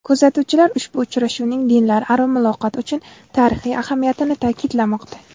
Kuzatuvchilar ushbu uchrashuvning dinlararo muloqot uchun tarixiy ahamiyatini ta’kidlamoqda.